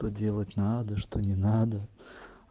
то делать надо что не надо